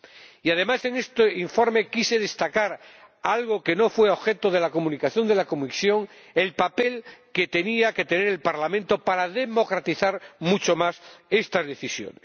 Y, además, en este informe quise destacar algo que no fue objeto de la Comunicación de la Comisión el papel que tenía que tener el Parlamento para democratizar mucho más esta decisión.